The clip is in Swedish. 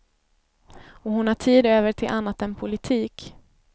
Och hon har tid över till annat än politik.